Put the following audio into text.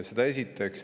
Seda esiteks.